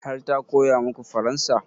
Har ta koya maku faransa?